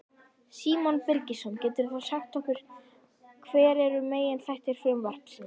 Símon Birgisson: Geturðu þá sagt okkur hver eru meginþættir frumvarpsins?